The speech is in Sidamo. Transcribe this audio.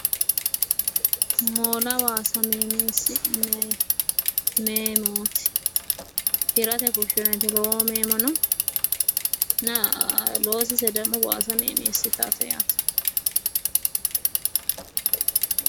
moola waasa meemisi'nanni meemooti hirate fushinonite togoo meemona naa losise demo waasa meemiissitaate yaate.